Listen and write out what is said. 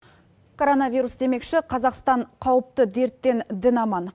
короновирус демекші қазақстан қауіпті дерттен дін аман